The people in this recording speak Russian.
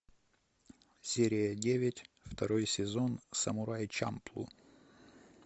серия девять второй сезон самурай чамплу